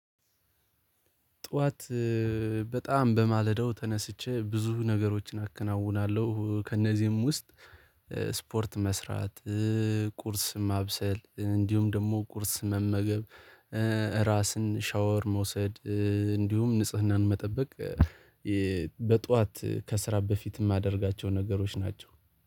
ጠዋት በጣም በማለዳው ተነስቼ ብዙ ነገሮችን አከናውናለሁ ከእነዚህም ውስጥ ስፖርት መስራት ቁርስ ማብሰል እንዲሁም ደግሞ ቁርስ መመገብ ራስን ሻወር መውሰድ እንዲሁም ንጽህናን መጠበቅ ከስራ በፊት የማደርጋቸው ነገሮች ናቸው